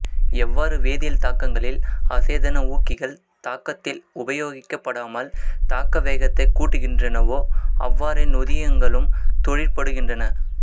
எவ்வாறு வேதியல் தாக்கங்களில் அசேதன ஊக்கிகள் தாக்கத்தில் உபோயகிக்கப்படாமல் தாக்க வேகத்தைக் கூட்டுகின்றனவோ அவ்வாறே நொதியங்களும் தொழிற்படுகின்றன